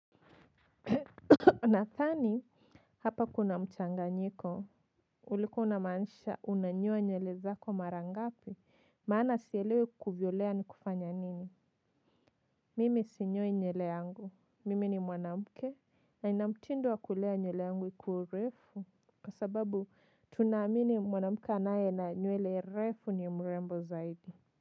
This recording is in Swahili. Nadhani hapa kuna mchanganyiko ulikuwa unamaanisha unanyoa nywele zako mara ngapi maana sielewi kuvyolea ni kufanya nini mimi sinyoi nywele yangu mimi ni mwanamke na nina mtindo wa kulea nywele yangu ikue urefu kwa sababu tunaamini mwanamke anaye na nywele refu ni mrembo zaidi. Kwa hivyo.